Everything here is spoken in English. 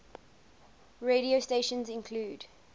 radio stations include